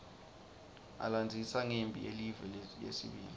alandzisa ngemphi yelive yesibili